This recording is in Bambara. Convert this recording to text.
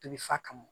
Tobi fa kɔnɔ